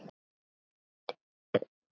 Sértu kært kvödd, elsku frænka.